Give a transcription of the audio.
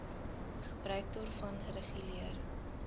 gebruik daarvan reguleer